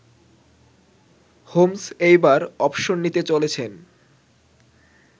Holmes এইবার অবসর নিতে চলেছেন